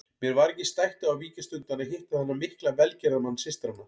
Mér var ekki stætt á að víkjast undan að hitta þennan mikla velgerðamann systranna.